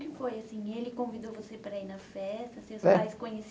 que foi assim. Ele convidou você para ir na festa? Seus pais